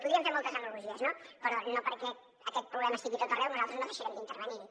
podríem fer moltes analogies però no perquè aquest problema estigui a tot arreu nosaltres no deixarem d’intervenir hi